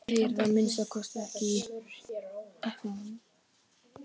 Heyri að minnsta kosti ekki í honum.